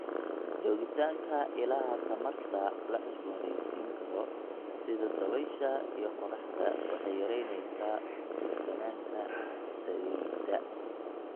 Joogitaanka ilaha tamarta la cusboonaysiin karo sida dabaysha iyo qoraxda waxay yaraynaysaa ku tiirsanaanta saliidda.